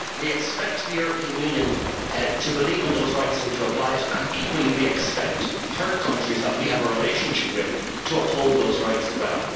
We expect the European Union to believe in those rights and to apply them, and equally we expect third countries with which we have a relationship to uphold those rights as well.